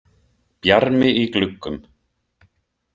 Bjarmi í gluggum.